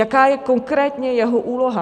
Jaká je konkrétně jeho úloha?